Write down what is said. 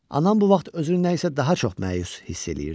Anam bu vaxt özünü nəyisə daha çox məyus hiss eləyirdi.